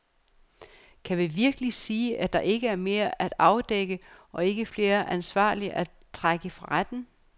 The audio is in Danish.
Kan vi virkelig sige, at der ikke er mere at afdække og ikke flere ansvarlige at trække for retten.